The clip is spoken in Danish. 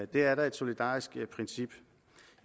det er da et solidarisk princip